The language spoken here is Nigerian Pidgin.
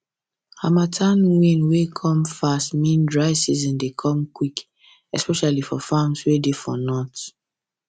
harmattan wind way come fast mean dry season dey come quick especially for farms way dey for north